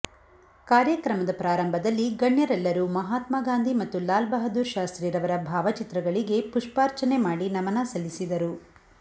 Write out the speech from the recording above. ಕಾರ್ಯಕ್ರಮದ ಪ್ರಾರಂಭದಲ್ಲಿ ಗಣ್ಯರೆಲ್ಲರು ಮಹಾತ್ಮ ಗಾಂಧಿ ಮತ್ತು ಲಾಲ್ಬಹದ್ದೂರ್ ಶಾಸ್ತ್ರಿ ರವರ ಭಾವಚಿತ್ರಗಳಿಗೆ ಪುಷ್ಪಾರ್ಚನೆ ಮಾಡಿ ನಮನ ಸಲ್ಲಿಸಿದರು